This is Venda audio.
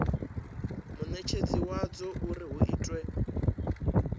munetshedzi wadzo uri hu itwe